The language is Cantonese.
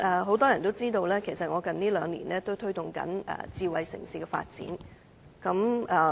很多人也知道，我近兩年正推動智慧城市的發展。